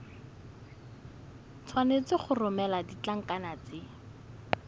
tshwanetse go romela ditlankana tse